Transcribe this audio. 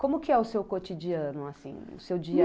Como que é o seu cotidiano, assim, o seu dia a dia?